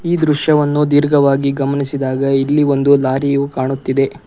ಈ ದೃಶ್ಯವನ್ನು ದೀರ್ಘವಾಗಿ ಗಮನಿಸಿದಾಗ ಇಲ್ಲಿ ಒಂದು ಲಾರಿಯು ಕಾಣುತ್ತಿದೆ.